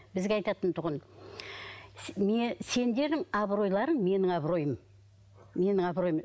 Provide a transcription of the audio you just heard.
бізге айтатын тұғын сендер абыройларың менің абыройым менің абыройым